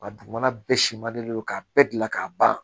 Wa dugumana bɛɛ siman de don k'a bɛɛ gilan k'a ban